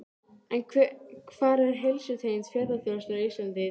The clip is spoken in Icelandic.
En hvar er heilsutengd ferðaþjónusta á Íslandi í dag?